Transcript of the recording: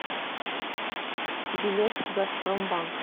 билет газпромбанк